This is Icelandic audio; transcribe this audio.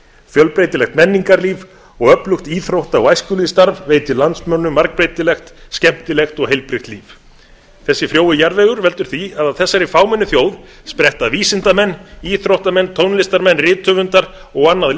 fjölbreytilegt menningarlíf og öflugt íþrótta og æskulýðsstarf veitir landsmönnum margbreytilegt skemmtilegt og heilbrigt líf þessi frjói jarðvegur veldur því að af þessari fámennu þjóð spretta vísindamenn íþróttamenn tónlistarmenn rithöfundar og annað